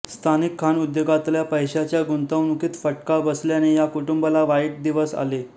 स्थानिक खाणउद्योगातल्या पैशाच्या गुंतवणुकीत फटका बसल्याने या कुटुंबाला वाईट दिवस आले